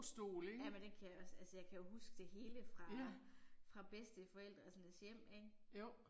Jamen det kan jeg også, altså jeg kan jo huske det hele fra fra bedsteforældrenes hjem ik